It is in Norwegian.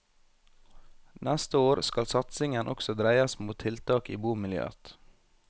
Neste år skal satsingen også dreies mot tiltak i bomiljøet.